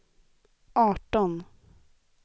arton